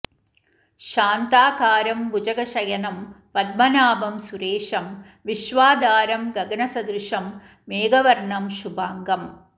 शांताकारं भुजगशयनं पद्मनाभं सुरेशं विश्वाधारं गगनसदृशं मेघवर्णं शुभाङ्गम्